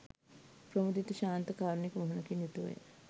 ප්‍රමුදිත, ශාන්ත, කාරුණික මුහුණකින් යුතුව ය.